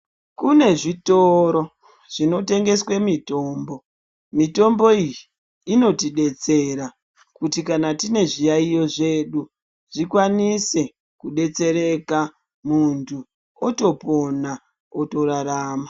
Kune zvitoro zvinotengeswe mitombo. Mitombo iyi inotidetsera kuti kana tine zviyaiyo zvedu zvikwanise kudetsereka mundu otopona, otorarama.